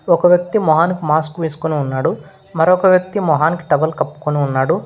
ఒక వ్యక్తి మొహానికి మాస్క్ వేసుకొని ఉన్నాడు మరొక్క వ్యక్తి మొహానికి టవల్ కప్పుకొని ఉన్నాడు.